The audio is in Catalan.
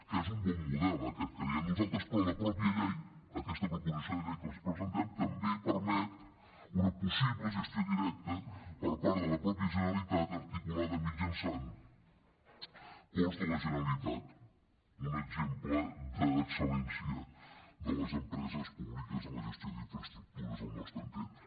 que és un bon model aquest creiem nosaltres però la mateixa llei aquesta proposició de llei que els presentem també permet una possible gestió directa per part de la mateixa generalitat articulada mitjançant ports de la generalitat un exemple de l’excel·lència de les empreses públiques en la gestió d’infraestructures al nostre entendre